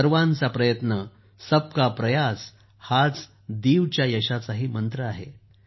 सर्वांचा प्रयत्न सबका प्रयास हाच दीव च्या या यशाचाही मंत्र आहे